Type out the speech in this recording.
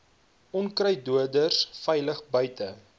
onkruiddoders veilig buite